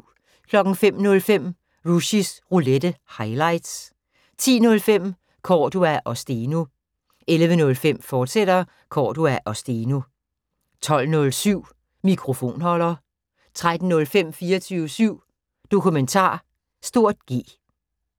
05:05: Rushys Roulette – highlights 10:05: Cordua & Steno 11:05: Cordua & Steno, fortsat 12:07: Mikrofonholder 13:05: 24syv Dokumentar (G)